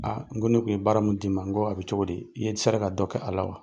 Aa n ko ne tun ye baara min d'i ma, n ko a bɛ cogo di? I ye sera ka dɔ kɛ a la wa?